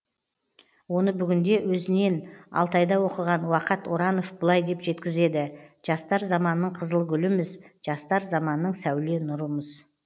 оны бүгінде өзінен алтайда оқыған уақат оранов былай деп жеткізеді жастар заманның қызыл гүліміз жастар заманның сәуле нұрымыз